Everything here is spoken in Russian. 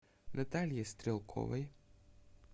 наталье стрелковой